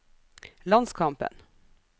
landskampen